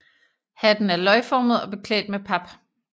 Hatten er løgformet og beklædt med pap